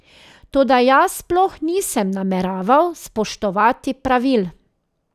Toda jaz sploh nisem nameraval spoštovati pravil.